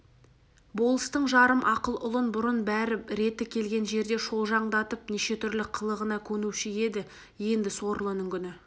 болыстың жарым ақыл ұлын бұрын бәрі реті келген жерде шолжаңдатып неше түрлі қылығына көнуші еді енді сорлының күні